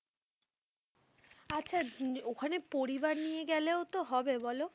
আচ্ছা ওখানে পরিবার নিয়েও গেলে তো হবে বলো?